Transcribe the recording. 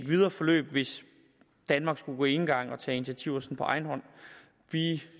videre forløb hvis danmark skulle gå enegang og tage initiativer på egen hånd vi